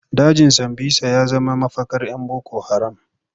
Dajin Sambisa ya zama mafakar 'yan boko haram.